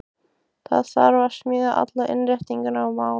Það þarf að smíða allar innréttingar og mála.